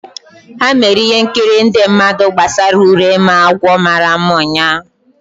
Ha mere ihe nkiri ndị mmadụ gbasara Urenma agwọ mara mma ụnyahụ.